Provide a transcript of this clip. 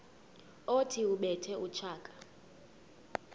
othi ubethe utshaka